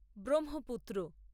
Brahmaputra